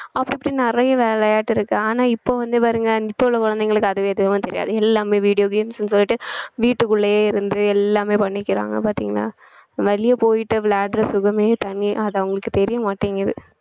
அப்படி இப்பிடி நிறைய விளையாட்டு இருக்கு ஆனா இப்ப வந்து பாருங்க இப்ப உள்ள குழந்தைகளுக்கு அதுவே எதுவுமே தெரியாது எல்லாமே video games ன்னு சொல்லிட்டு வீட்டுக்குள்ளேயே இருந்து எல்லாமே பண்ணிக்கிறாங்க பாத்தீங்களா வெளிய போயிட்டு விளையாடுற சுகமே தனி அது அவங்களுக்கு தெரியமாட்டேங்குது